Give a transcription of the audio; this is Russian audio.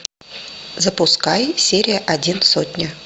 запускай серия один сотня